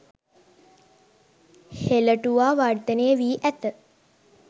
හෙළටුවා වර්ධනය වී ඇත.